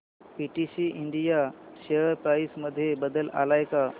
PTC India share price मध्ये बदल आलाय का